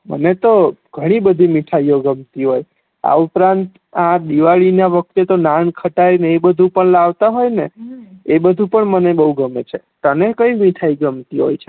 મને તો ગણી બધી મીથાયો ગમતી હોય છે આ ઉપરાંત આ દિવાળી ના વખતે નાનખટાઈ ને એ બધું પણ લાવતા હોય ને એ બધુ પણ મને બવ ગમે છે તને કઈ મીઠાઈ ગમતી હોય છે